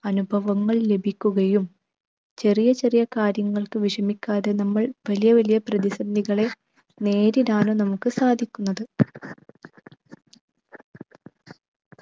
അനുഭവങ്ങൾ ലഭിക്കുകയും ചെറിയ ചെറിയ കാര്യങ്ങൾക്ക് വിഷമിക്കാതെ നമ്മൾ വലിയ വലിയ പ്രതി സന്ധികളെ നേരിടാനും നമുക്ക് സാധിക്കുന്നത്.